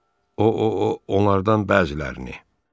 O, onlardan bəzilərini.